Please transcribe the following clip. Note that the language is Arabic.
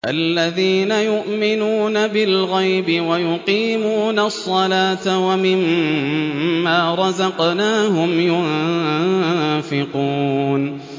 الَّذِينَ يُؤْمِنُونَ بِالْغَيْبِ وَيُقِيمُونَ الصَّلَاةَ وَمِمَّا رَزَقْنَاهُمْ يُنفِقُونَ